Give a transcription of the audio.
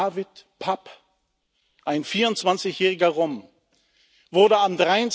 Dávid Papp, ein 24 jähriger Rom, wurde am